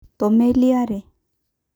Tomeli are